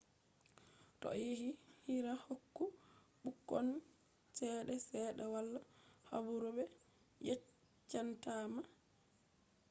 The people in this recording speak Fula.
toh ayidi hira hokku bukkon chede sedda wala habaru be yecchatama